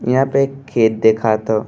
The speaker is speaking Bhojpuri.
इहां पे एक खेत दिखात ह।